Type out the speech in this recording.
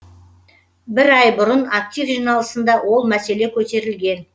бір ай бұрын актив жиналысында ол мәселе көтерілген